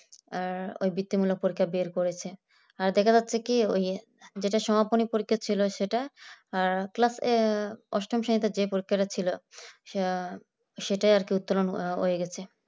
ওই বৃত্তি মূলক পরীক্ষা বের করেছে আর দেখা যাচ্ছে কি ওই যেটা সমাপনী পরীক্ষা ছিল সেটা class অষ্টম শ্রেণীতে যে পরীক্ষা টা ছিল সে সেটা আর কি উত্তোলন হয়ে গেছে।